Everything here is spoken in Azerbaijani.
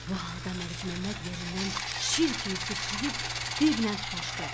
Bu halda Məlikməmməd yerindən şir kimi sıçrayıb divlə tutaşdı.